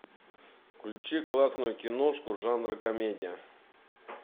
включи классную киношку жанра комедия